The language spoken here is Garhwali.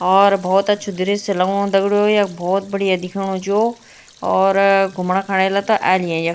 और बहौत अछू दृश्य लगनु दगड़ियों यख बहौत बढ़िया दिखेणु च यो और घुमणा क एला त एै लियां यख।